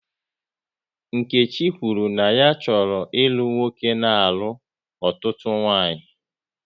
Nkechi kwuru na ya chọrọ ịlụ nwoke na-alụ ọtụtụ nwaanyị